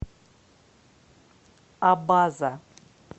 абаза